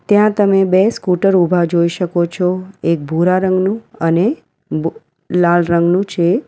ત્યાં તમે બે સ્કૂટર ઊભા જોઈ શકો છો એક ભૂરા રંગનું અને ભૂ લાલ રંગનું છે.